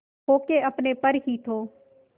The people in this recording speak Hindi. खो के अपने पर ही तो